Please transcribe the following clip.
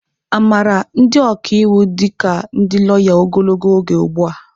Amara ndị ọka iwu dị ka ndị lawya ogologo oge ugbu a.